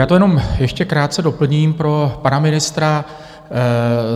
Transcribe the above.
Já to jenom ještě krátce doplním pro pana ministra.